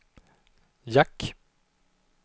jack